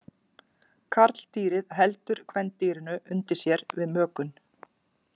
Karldýrið heldur kvendýrinu undir sér við mökun.